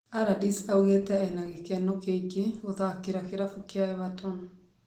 Allardyce augĩte ena gĩkeno kiingĩ kuthakira kĩrabu kĩa Everton.